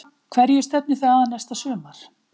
Hverju stefnið þið að næsta sumar?